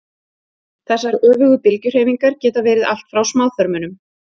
Þessar öfugu bylgjuhreyfingar geta verið allt frá smáþörmunum.